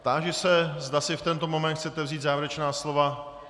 Táži se, zda si v tento moment chcete vzít závěrečná slova.